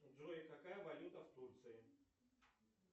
джой какая валюта в турции